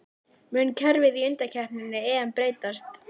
Mun kerfið í undankeppni EM breytast?